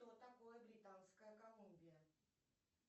что такое британская колумбия